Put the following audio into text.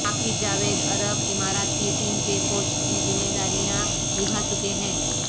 عاقب جاوید عرب امارات کی ٹیم کے کوچ کی ذمہ داریاں نبھا چکے ہیں